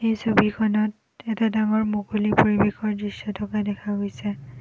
এই ছবিখনত এটা ডাঙৰ মুকলি পৰিবেশৰ দৃশ্য থকা দেখা গৈছে।